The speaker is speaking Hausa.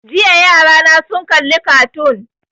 Jiya yarana sun kalli kartoon